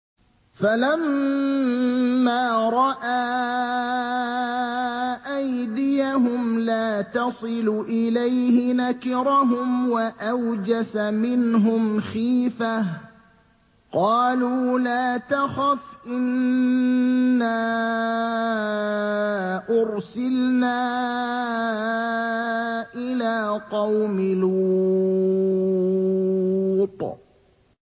فَلَمَّا رَأَىٰ أَيْدِيَهُمْ لَا تَصِلُ إِلَيْهِ نَكِرَهُمْ وَأَوْجَسَ مِنْهُمْ خِيفَةً ۚ قَالُوا لَا تَخَفْ إِنَّا أُرْسِلْنَا إِلَىٰ قَوْمِ لُوطٍ